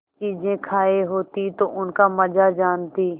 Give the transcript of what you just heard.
चीजें खायी होती तो उनका मजा जानतीं